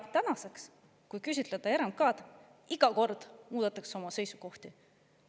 Tänaseni iga kord, kui küsitleda RMK‑d, muudetakse oma seisukohti.